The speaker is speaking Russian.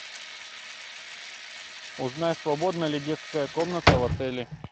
узнай свободна ли детская комната в отеле